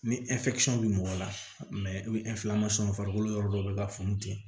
Ni bi mɔgɔ la i bi farikolo yɔrɔ dɔ be ka funu ten